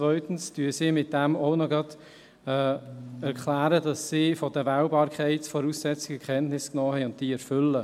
Zweitens erklären sie damit auch noch, dass sie von den Wählbarkeitsvoraussetzungen Kenntnis genommen haben und diese erfüllen.